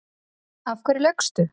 Af hverju laugstu?